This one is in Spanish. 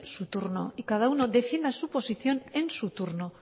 su turno y cada uno defina su posición en su turno